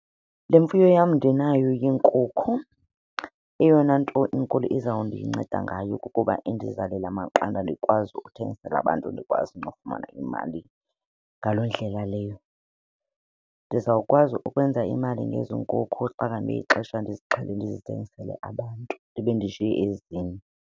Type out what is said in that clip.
Le mfuyo yam ndinayo yeenkukhu eyona nto inkulu izawundinceda ngayo kukuba indizalele amaqanda ndikwazi ukuthengisela abantu ndikwazi nokufumana imali ngaloo ndlela leyo. Ndizawukwazi ukwenza imali ngezi nkukhu xa ngabe ixesha ndizixhelile, ndizithengisele abantu ndibe ndishiye ezinye.